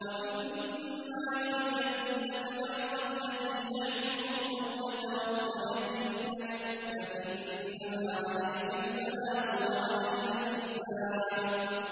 وَإِن مَّا نُرِيَنَّكَ بَعْضَ الَّذِي نَعِدُهُمْ أَوْ نَتَوَفَّيَنَّكَ فَإِنَّمَا عَلَيْكَ الْبَلَاغُ وَعَلَيْنَا الْحِسَابُ